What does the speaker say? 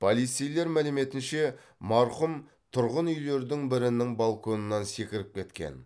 полицейлер мәліметінше марқұм тұрғын үйлердің бірінің балконынан секіріп кеткен